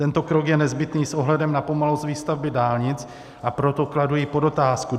Tento krok je nezbytný s ohledem na pomalost výstavby dálnic, a proto kladu i podotázku.